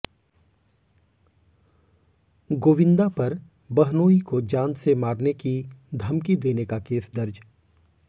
गोविंदा पर बहनोई को जान से मारने की धमकी देने का केस दर्ज